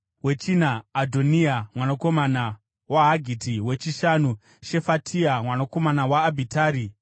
wechina, Adhoniya mwanakomana waHagiti; wechishanu, Shefatia mwanakomana waAbhitari;